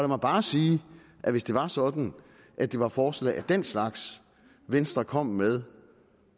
mig bare sige at hvis det var sådan at det var forslag af den slags venstre kom med